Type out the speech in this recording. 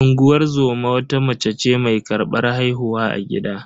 Unguwar zoma wata mata ce mai karbar haihuwa a gida.